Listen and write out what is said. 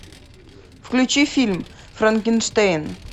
включи фильм франкенштейн